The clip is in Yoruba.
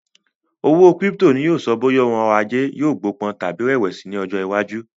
Owó kírípítò ni yìí ó sọ bóyá òun ọ̀rọ̀ ajé yìí gbó pọ̀n tàbí rẹ̀wẹ̀sì ni ọjọ́ iwájú